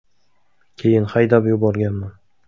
Keyin haydab yuborganman.